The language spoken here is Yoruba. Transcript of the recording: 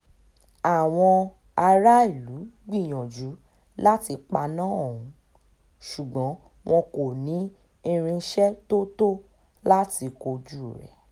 àwọn aráàlú gbìyànjú láti paná ọ̀hún ṣùgbọ́n wọn kò ní irinṣẹ́ tó tó láti kojú rẹ̀